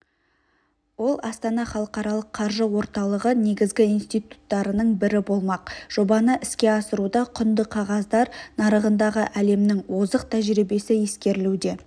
ол астана халықаралық қаржы орталығы негізгі институттарының бірі болмақ жобаны іске асыруда құнды қағаздар нарығындағы әлемнің озық тәжірибесі ескерілуде